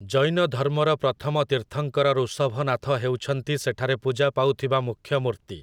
ଜୈନ ଧର୍ମର ପ୍ରଥମ ତୀର୍ଥଙ୍କର ଋଷଭନାଥ ହେଉଛନ୍ତି ସେଠାରେ ପୂଜା ପାଉଥିବା ମୂଖ୍ୟ ମୂର୍ତ୍ତି ।